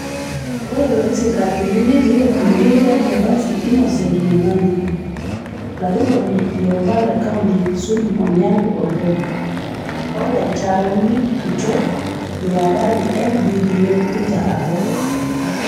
Ore loositayioki netii olbungei le Bobasi Innocent Momanyi, olarikoni liopa le county le Kisumu Onyango Oloo o lautaroni kitok liapa le LBDA Peter Abok.